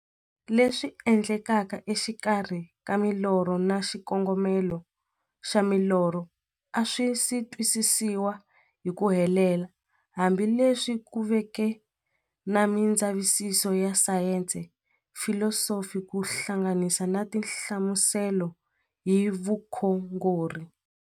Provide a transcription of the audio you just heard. Leswi endlekaka e xikarhi ka milorho na xikongomelo xa milorho a swisi twisisiwa hi ku helela, hambi leswi ku veke na mindzavisiso ya sayensi, filosofi ku hlanganisa na tinhlamuselo hi vukhongori.